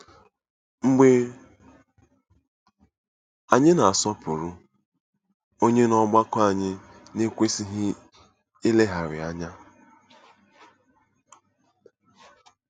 Mgbe anyị na-asọpụrụ, ònye n'ọgbakọ anyị na-ekwesịghị ileghara anya?